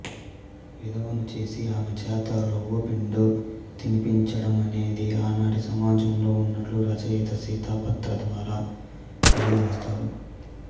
విధవను చేసి ఆమెచేత రవ్వో పిండో తినిపించటమనేది ఆనాటి సమాజంలో ఉన్నట్లు రచయిత సీత పాత్ర ద్వారా తెలియజేస్తారు